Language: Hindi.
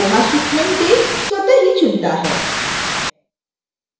koha shipment date स्वत: ही चुनता है